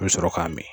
I bɛ sɔrɔ k'a min